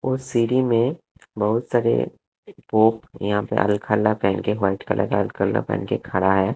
उस सीढ़ी में बहोत सारे यहां पे पहन के व्हाइट कलर का हथकंडा पहन के खड़ा है।